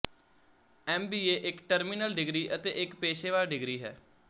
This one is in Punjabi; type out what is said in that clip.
ਐਮ ਬੀ ਏ ਇੱਕ ਟਰਮੀਨਲ ਡਿਗਰੀ ਅਤੇ ਇੱਕ ਪੇਸ਼ੇਵਰ ਡਿਗਰੀ ਹੈ